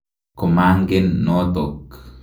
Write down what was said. Ko mangen notok.